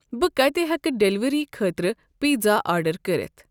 بہٕ کَتہِ ہٮ۪کہٕ ڈیلیوری خٲطرٕ پیزا آڑڈر کٔرِتھ؟